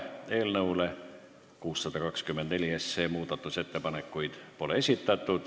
Eelnõu 624 kohta pole muudatusettepanekuid esitatud.